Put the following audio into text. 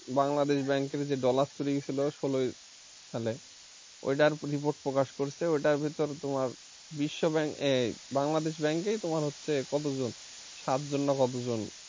বাংলাদেশ ব্যাংকের যে dollar চুরি হয়েছিল ষোল সালে ওইটার report প্রকাশ করছে ওটার ভিতরে তোমার বিশ্ব bank এই বাংলাদেশ bank এর তোমার হচ্ছে কতজন সাতজন না কতজন।